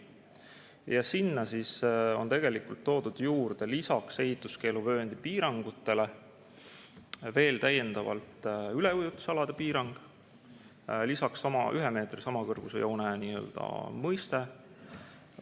Ja sinna on toodud lisaks ehituskeeluvööndi piirangutele veel täiendavalt üleujutusalade piirang ja 1 meetri samakõrgusjoone mõiste.